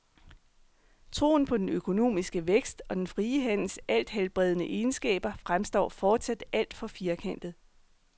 Troen på den økonomiske vækst og den frie handels althelbredende egenskaber fremstår fortsat alt for firkantet.